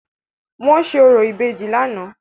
Wọ́n ṣe orò ìbejì lánàá.